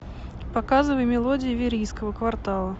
показывай мелодии верийского квартала